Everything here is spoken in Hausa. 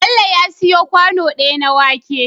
Bello ya siyo kwano daya na wake